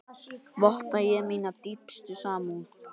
Votta ég mína dýpstu samúð.